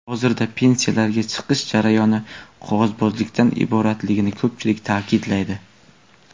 Hozirda pensiyaga chiqish jarayoni qog‘ozbozlikdan iboratligini ko‘pchilik ta’kidlaydi.